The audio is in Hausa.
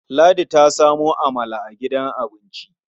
Ladi ta samo amala a gidan abinci.